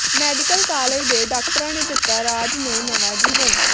medical college ਦੇ ਡਾਕਟਰਾਂ ਨੇ ਦਿੱਤਾ ਰਾਜ ਨੂੰ ਨਵਾਂ ਜੀਵਨ